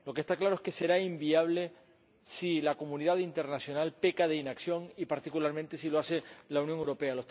Lo que está claro es que será inviable si la comunidad internacional peca de inacción y, particularmente, si lo hace la Unión Europea.